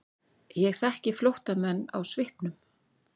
Ég þekki flóttamenn á svipnum.